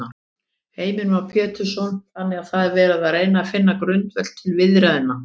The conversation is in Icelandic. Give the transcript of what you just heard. Heimir Már Pétursson: Þannig að það er verið að reyna finna grundvöll til viðræðna?